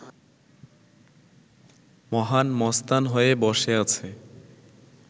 মহান মস্তান হয়ে বসে আছে